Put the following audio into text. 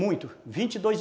Muitos. Vinte e dois